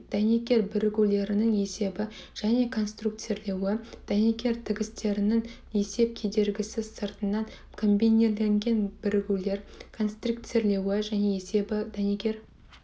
дәнекер бірігулерінің есебі және конструкцирлеуі дәнекер тігістерінің есеп кедергісі сыртынан комбинирленген бірігулері конструкцирлеуі және есебі дәнекер